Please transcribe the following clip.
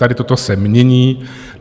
Tady toto se mění.